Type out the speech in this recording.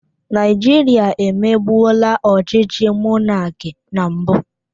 Naijirịa emebula ọchịchị mọnaki na mbụ?